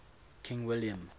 king william